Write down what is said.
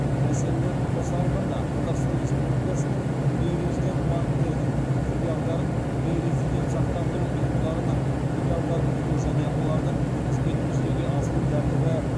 мәселелерін қоса алғанда қазақстан республикасының бейрезидент банктердің филиалдарын бейрезидент сақтандыру ұйымдарының филиалдарын құру және олардың қызметін жүзеге асыру тәртібі